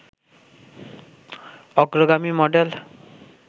অগ্রগামী মডেল